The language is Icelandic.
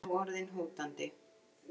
Er nú orðin hótandi.